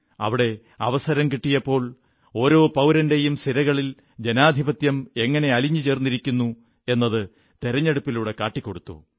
അവിടെ അവസരം കിട്ടിയപ്പോൾ ഓരോ പൌരന്റെയം സിരകളിൽ ജനാധിപത്യം എങ്ങനെ അലിഞ്ഞു ചേർന്നിരിക്കുന്നു എന്നത് തെരഞ്ഞെടുപ്പിലൂടെ കാട്ടിക്കൊടുത്തു